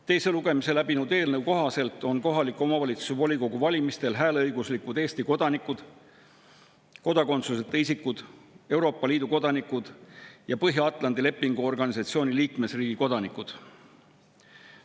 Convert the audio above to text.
Teise lugemise läbinud eelnõu kohaselt on kohaliku omavalitsuse volikogu valimistel hääleõiguslikud Eesti kodanikud, kodakondsuseta isikud, Euroopa Liidu kodanikud ja Põhja-Atlandi Lepingu Organisatsiooni liikmesriigi kodanikud.